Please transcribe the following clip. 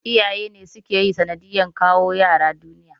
Iyaye ne suka yi sanadiyar kawo 'ƴa'ƴa duniya.